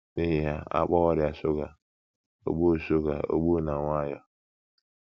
N’ihi ya, a kpọwa ọrịa shuga ogbu shuga ogbu na nwayọọ.